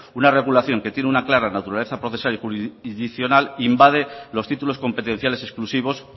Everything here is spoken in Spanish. una regulación que tiene una clara naturaleza procesal y jurisdiccional invade los títulos competenciales exclusivos